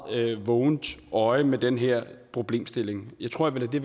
vågent øje med den her problemstilling jeg tror jeg vil